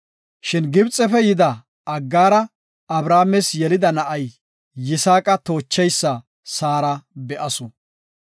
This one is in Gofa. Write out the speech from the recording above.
Shin Gibxefe yida Aggaara Abrahaames yelida na7ay Yisaaqa toochishin Saara be7asu.